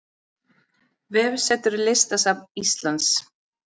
Vefsetur Listasafns Íslands